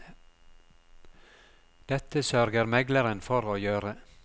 Dette sørger megleren for å gjøre.